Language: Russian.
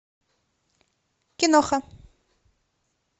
киноха